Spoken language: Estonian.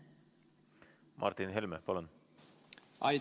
Martin Helme, palun!